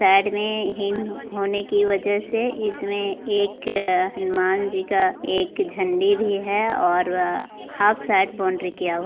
side में हीन होने की वजह से इसमें एक हनुमान जी का एक झंडी भी है और वह हाफ साइड बाउंड्री किया हुआ --